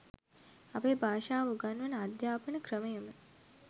අපේ භාෂාව උගන්වන අධ්‍යාපන ක්‍රමයම